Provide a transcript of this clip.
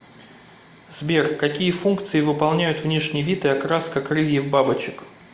сбер какие функции выполняют внешний вид и окраска крыльев бабочек